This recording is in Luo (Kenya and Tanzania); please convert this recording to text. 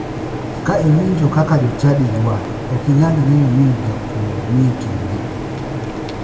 Ka iwinjo kaka jochadi ywak ok inyal ng'eyo ni jakuo ni e kindgi.